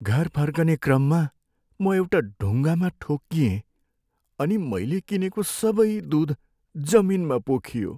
घर फर्कने क्रममा म एउटा ढुङ्गामा ठोक्किएँ अनि मैले किनेको सबै दुध जमिनमा पोखियो।